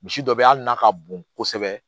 Misi dɔ be yen hali n'a ka bon kosɛbɛ